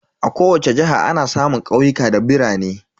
A kowace jiha ana samun ƙauyuka da birane.